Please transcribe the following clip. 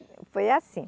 Foi assim